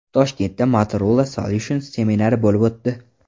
Toshkentda Motorola Solutions seminari bo‘lib o‘tdi.